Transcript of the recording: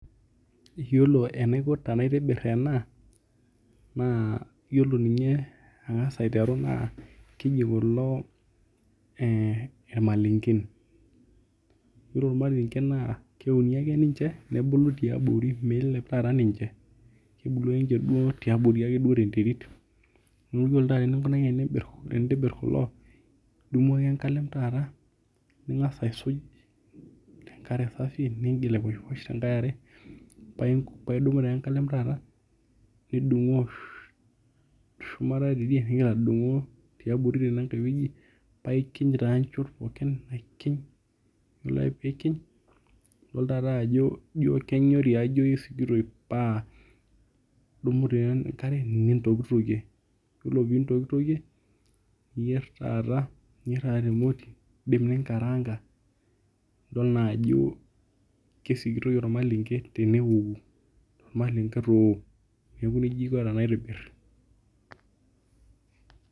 Iyoloenaiko tenaitobir ena n iyiolo ninye tanangasa aiteru na keji kulo irmailengen ore irmalenken na keuni ake nche nebulu tiabori, meilep taata ninche kebulu ake ninche tiabori tenterit, neaku ore eninkunaki pintobir kulo idumu ake enkalem taata ningasa aisuk tenkare safi paidumu ta enkalem taata nidungu teshumata tidie nintoki adungu tiabori tenankai wueji paikinya taa nchot pookin aikinu ore ake pikiny yiolo ajo pa idumu taa enkare nintokitokie, ore pintokitokie niyier taata temoti indimbninkaranga nidol ajo kesikitoi ormalenge teninkato, neaku nejia aiko naitobir.